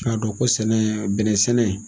K'a dɔn ko sɛnɛ bɛnɛ sɛnɛ.